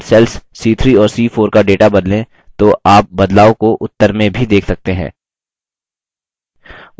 यदि हम cells c3 और c4 का data बदलें तो आप बदलाव को उत्तर में भी देख सकते हैं